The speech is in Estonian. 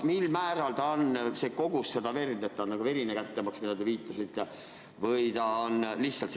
Mil määral seda verd peab olema, et see oleks verine kättemaks, millele te viitasite?